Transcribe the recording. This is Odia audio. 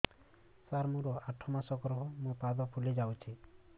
ସାର ମୋର ଆଠ ମାସ ଗର୍ଭ ମୋ ପାଦ ଫୁଲିଯାଉଛି